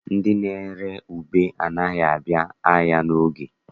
Ndị na-ere ube anaghị abịa ahịa n'oge.